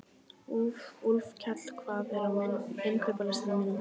Úlfkell, hvað er á innkaupalistanum mínum?